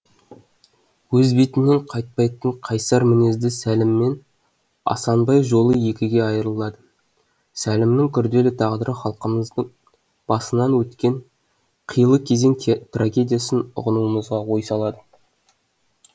өз бетінен қайтпайтын қайсар мінезді сәліммен асанбай жолы екіге айрылады сәлімнің күрделі тағдыры халқымыз басынан өткен қилы кезең трагедиясын ұғынуымызға ой салады